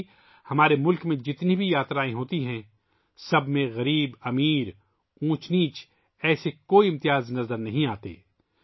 ایسے ہی ہمارے ملک میں جتنی بھی یاترائیں ہوتی ہیں ان میں غریب اور امیر، اونچ نیچ جیسی کوئی تفریق نظر نہیں آتی